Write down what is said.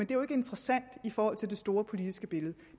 jo ikke interessant i forhold til det store politiske billede